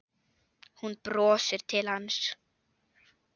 Hún brosir til hans.